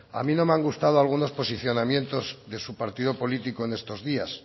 a mí no me han gustado algunos posicionamientos de su partido político en estos días